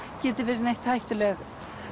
geti verið neitt hættuleg